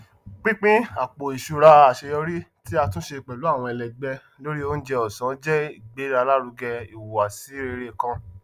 pínpín àpò iṣúra aṣeyọrí tí ati túnse pẹlú àwọn ẹlẹgbẹ lórí oúnjẹ ọsán jẹ ìgbèlárugẹ ìhùwàsí rere kan